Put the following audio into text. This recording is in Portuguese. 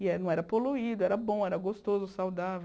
E eh não era poluído, era bom, era gostoso, saudável.